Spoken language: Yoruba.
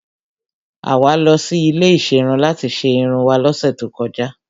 Àwa lọ sí ilé ìserun láti ṣe irun wá lọ́sẹ̀ tó kọjá.